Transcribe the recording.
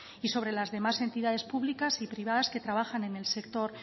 y sobre las demás entidades públicas y privadas que trabajan en el sector